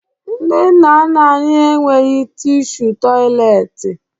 Ndị nna nna anyị enweghi tishu tọyịleetị